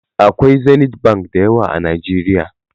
Akwai Zenith Bank da yawa a Najeriya.